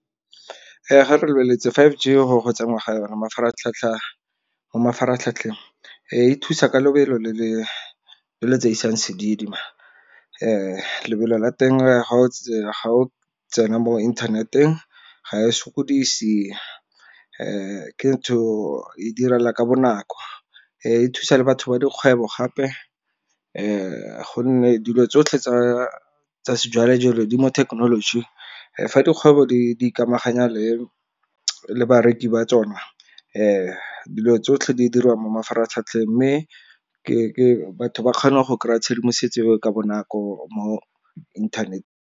Ga re lebeletse five G gore go tsenngwa ga yona mo mafaratlhatlheng e thusa ka lebelo le le tseisang sedidi , lebelo la teng ga o tsena mo internet-eng ga e sokodise ke ntho e direla ka bonako. E thusa le batho ba dikgwebo gape gonne dilo tsotlhe tsa sejwalejwale di mo thekenolojing fa dikgwebo di ikamaganya le le bareki ba tsona, dilo tsotlhe di dirwang mo mafaratlhatlheng mme batho ba kgone go kry-a tshedimosetso ka bonako mo inthanete.